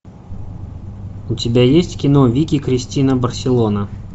у тебя есть кино вики кристина барселона